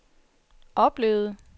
oplevede